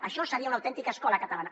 això seria una autèntica escola catalana